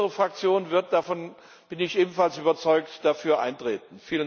Unsere Fraktion wird davon bin ich ebenfalls überzeugt dafür eintreten.